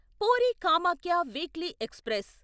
puri Kamakhya weekly express